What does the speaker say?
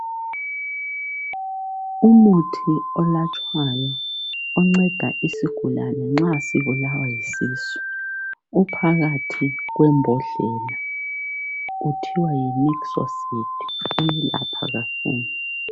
Umuthi onathwayo ,onceda isigulani nxa sibulawa yisisu .Uphakathi kwembodlela kuthiwa Yi nixocid uyelapha kakhulu.